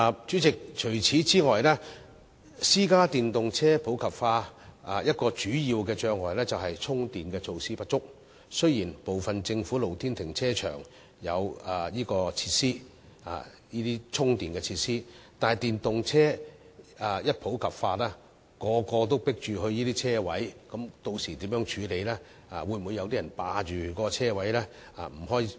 主席，此外，電動私家車普及化一個主要障礙，就是充電設施不足，雖然部分政府露天停車場設有充電設施，但當電動車普及後，若所有人都爭相到可充電車位，屆時又該如何處理呢？